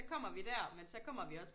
Så kommer vi der men så kommer vi også